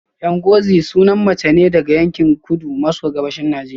Ngozi sunan mace ne daga yankin kudu maso gabashin Najeriya